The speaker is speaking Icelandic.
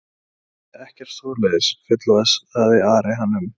Nei, nei, ekkert svoleiðis fullvissaði Ari hann um.